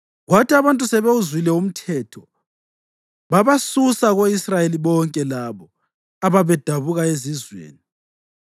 Kwathi abantu sebewuzwile umthetho, babasusa ko-Israyeli bonke labo ababedabuka ezizweni.